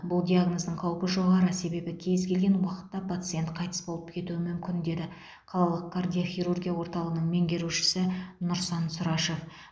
бұл диагноздың қаупі жоғары себебі кез келген уақытта пациент қайтыс болып кетуі мүмкін деді қалалық кардиохирургия орталығының меңгерушісі нұрсан сұрашев